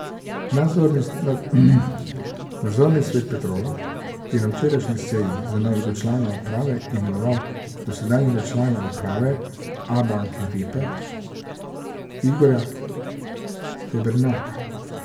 Nadzorni svet Petrola je na včerajšnji seji za novega člana uprave imenoval dosedanjega člana uprave Abanke Vipe Igorja Stebernaka.